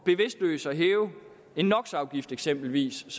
bevidstløst at hæve eksempelvis